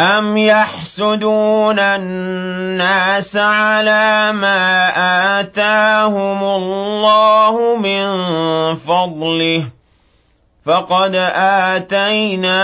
أَمْ يَحْسُدُونَ النَّاسَ عَلَىٰ مَا آتَاهُمُ اللَّهُ مِن فَضْلِهِ ۖ فَقَدْ آتَيْنَا